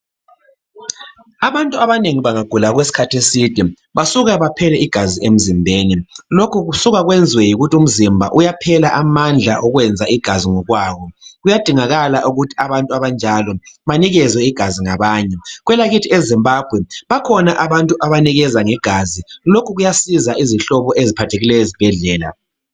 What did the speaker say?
Abantu abanengi bengagula okwesikhathi eside basuka baphele igazi emzimbeni. Lokhu kusuka kwenzwe yikuthi umzimba uyaphela amandla ukwenza igazi ngokwawo. Kuyadingakala ukuthi abantu abanjalo banikezwe igazi ngabanye. Kwelakithi eZimbabwe bakhona abantu abanikeza ngegazi. Lokhu kuyasiza izihlobo eziphathekileyo ezibhedlela.